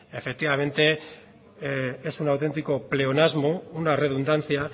efectivamente es un auténtico pleonasmo una redundancia